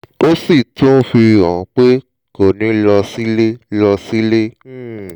ó sì tún fi hàn pé kò ní lọ sílẹ̀ lọ sílẹ̀ um